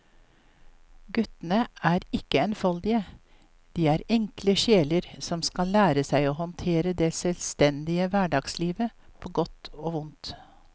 Guttene er ikke enfoldige, de er enkle sjeler som skal lære seg å håndtere det selvstendige hverdagslivet på godt og vondt.